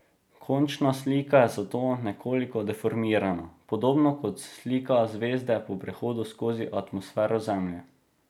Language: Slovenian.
Končna slika je zato nekoliko deformirana, podobno kot slika zvezde po prehodu skozi atmosfero Zemlje.